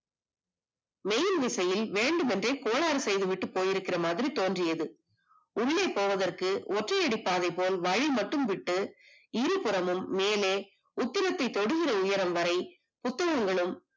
மின்விசையில் வேண்டுமென்றே கோளாறு செய்துவிட்டு போயிருக்க மாதிரி தோன்றியது உள்ளே போவதற்கு ஒற்றையடி பாதை போல் வலி மட்டும் விட்டு இருபுறமும் மேலே திருத்தை தொடுகின்ற உயரம் வரை புத்தகங்களும்